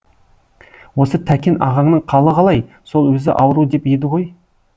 осы тәкен ағаңның қалы қалай сол өзі ауру деп еді ғой